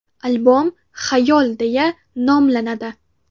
Albom “Xayol” deya nomlanadi.